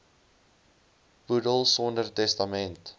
boedel sonder testament